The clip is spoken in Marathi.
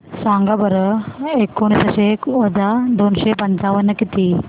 सांगा बरं एकोणीसशे वजा दोनशे पंचावन्न किती